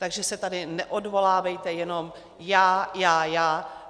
Takže se tady neodvolávejte jenom: já, já, já.